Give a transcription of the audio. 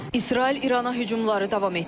İsrail İrana hücumları davam etdirir.